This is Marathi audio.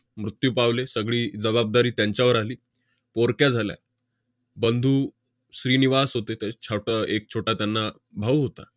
मृत्यू पावले. सगळी जबाबदारी त्यांच्यावर आली. पोरक्या झाल्या. बंधू श्रीनिवास होते, ते छोटं~ एक छोटा त्यांना भाऊ होता.